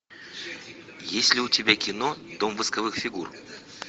есть ли у тебя кино дом восковых фигур